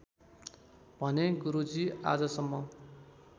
भने गुरुजी आजसम्म